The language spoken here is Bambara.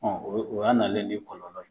Ɔn o ya nalen ye ni kɔlɔlɔ ye.